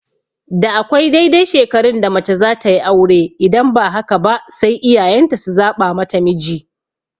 Da akwai daidai shekarun da mace zatayi aure idan ba haka ba sai iyayen ta su zaɓa mata miji